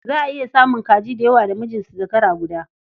Za a iya samun kaji da yawa da mijin su zakara guda.